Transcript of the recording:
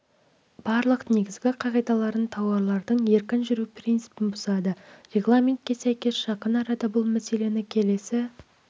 барлық негізгі қағидаларын тауарлардың еркін жүру принципін бұзады регламентке сәйкес жақын арада бұл мәселені келесі